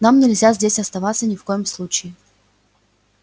нам нельзя здесь оставаться ни в коем случае